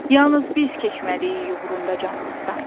Yalnız biz keçməliyik uğrunda canımızdan.